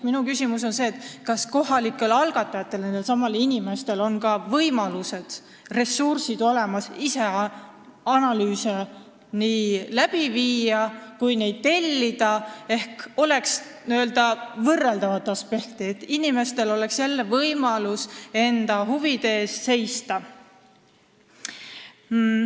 Minu küsimus on, kas ka kohalikel inimestel on ressursse tellida korralikke analüüse, et oleks võrdlusvõimalus, et inimestel oleks võimalus enda huvide eest seista.